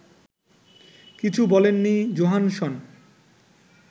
কিছু বলেননি জোহানসন